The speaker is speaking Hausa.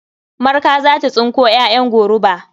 Marka za ta tsinko ƴaƴan goruba.